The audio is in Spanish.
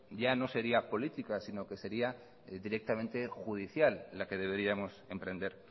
ya no sería política sino que sería directamente judicial la que deberíamos emprender